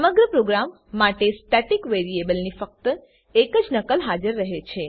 સમગ્ર પ્રોગ્રામ માટે સ્ટેટિક વેરીએબલની ફક્ત એક જ નકલ હાજર રહે છે